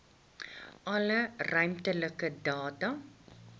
alle ruimtelike data